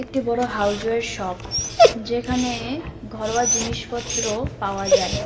একটি বড়ো houseware shop যেখানে ঘরোয়া জিনিসপত্র পাওয়া যায়।